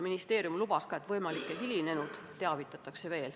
Ministeerium lubas, et võimalikke hilinejaid teavitatakse.